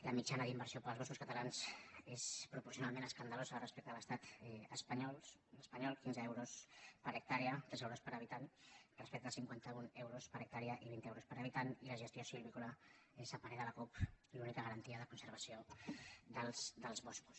la mitjana d’inversió per als boscos catalans és proporcionalment escandalosa respecte a l’estat espanyol quinze euros per hectàrees tres euros per habitant respecte a cinquanta un euros per hectàrea i vint euros per habitant i la gestió silvícola és a parer de la cup l’única garantia de conservació dels boscos